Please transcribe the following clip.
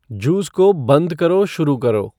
juice को बंद करो शुरू करो